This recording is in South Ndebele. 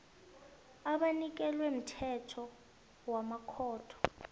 ewanikelwe mthetho wamakhotho